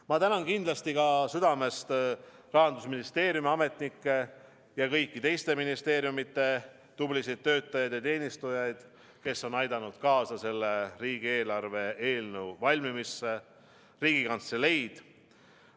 Ma tänan kindlasti südamest Rahandusministeeriumi ametnikke ja kõigi teiste ministeeriumide tublisid töötajaid ja teenistujaid, kes on aidanud kaasa selle riigieelarve eelnõu valmimisse, ka Riigikantseleid.